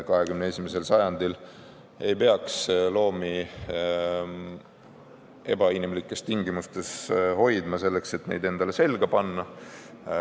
21. sajandil ei peaks loomi ebainimlikes tingimustes hoidma selleks, et neid endale selga panna.